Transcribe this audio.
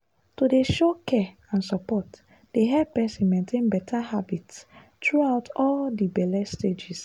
to dey show care and support dey help person maintain better habits throughout all the belle stages.